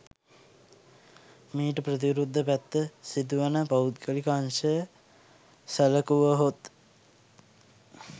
මීට ප්‍රතිවිරුද්ධ පැත්ත සිදුවන පෞද්ගලික අංශය සැලකුවහොත්